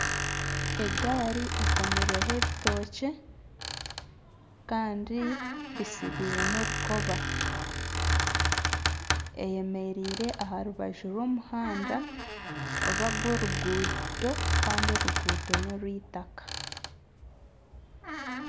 Egaari ekomirweho ebitookye kandi bitsibire n'orukoba eyemereire aha rubaju rw'omuhanda niga gw'oruguuto kandi oruguuto n'orw'eitaaka.